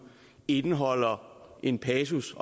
indeholder en passus